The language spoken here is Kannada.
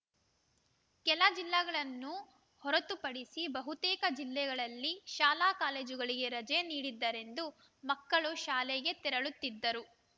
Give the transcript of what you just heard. ಕೆಲ ಜಿಲ್ಲ ಗಳನ್ನು ಹೊರತುಪಡಿಸಿ ಬಹುತೇಕ ಜಿಲ್ಲೆಗಳಲ್ಲಿ ಶಾಲಾ ಕಾಲೇಜುಗಳಿಗೆ ರಜೆ ನೀಡದ್ದರಿಂದ ಮಕ್ಕಳು ಶಾಲೆಗೆ ತೆರಳುತ್ತಿದ್ದರು